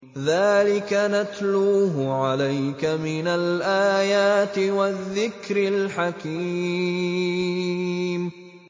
ذَٰلِكَ نَتْلُوهُ عَلَيْكَ مِنَ الْآيَاتِ وَالذِّكْرِ الْحَكِيمِ